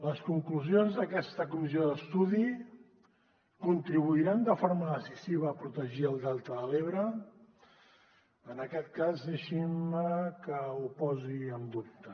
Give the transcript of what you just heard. les conclusions d’aquesta comissió d’estudi contribuiran de forma decisiva a protegir el delta de l’ebre en aquest cas deixin me que ho posi en dubte